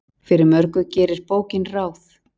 Fyrir mörgu gerir bókin ráð.